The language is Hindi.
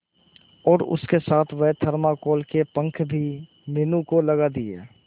और उसके साथ वह थर्माकोल के पंख भी मीनू को लगा दिए